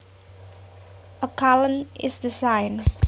A colon is the sign